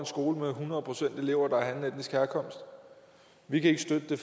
skole med hundrede procent elever af anden etnisk herkomst vi kan ikke støtte det